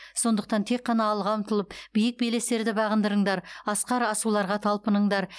сондықтан тек қана алға ұмтылып биік белестерді бағындырыңдар асқар асуларға талпыныңдар